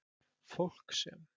Fólk sem